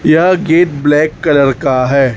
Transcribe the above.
यह gate black colour का है।